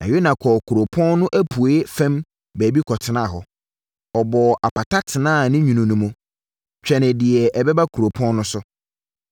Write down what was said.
Na Yona kɔɔ kuropɔn no apueeɛ fam baabi kɔtenaa hɔ. Ɔbɔɔ apata tenaa ne nwunu no mu, twenee deɛ ɛbɛba kuropɔn no so.